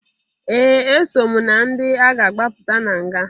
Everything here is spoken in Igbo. Ee! Eso m na ndị a ga-agbapụta na nga.